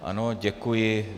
Ano, děkuji.